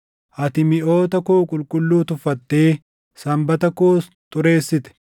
Ati miʼoota koo qulqulluu tuffattee Sanbata koos xureessite.